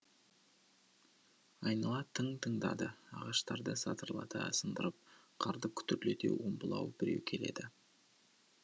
айнала тың тыңдады ағаштарды сатырлата сындырып қарды күтірлете омбылау біреу келеді